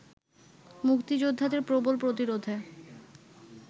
মুক্তিযোদ্ধাদের প্রবল প্রতিরোধে